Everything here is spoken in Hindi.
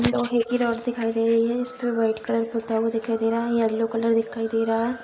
लोहे की रॉड दिखाई दे रही हैं इसपे व्हाइट कलर पुता हुआ दिखाई रहा है यैलो कलर दिखाई दे रहा।